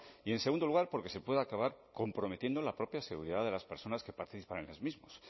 y en segundo lugar porque se puede acabar comprometiendo la propia seguridad de las personas que participan en los mismos